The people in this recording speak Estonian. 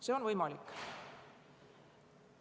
See on võimalik.